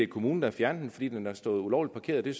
kommunen har fjernet den fordi den har stået ulovligt parkeret det